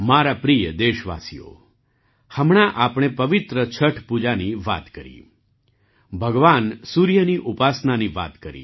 મારા પ્રિય દેશવાસીઓ હમણાં આપણે પવિત્ર છઠ પૂજાની વાત કરી ભગવાન સૂર્ય ની ઉપાસનાની વાત કરી